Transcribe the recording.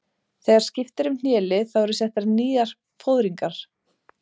Þegar skipt er um hnélið þá eru settar nýjar fóðringar.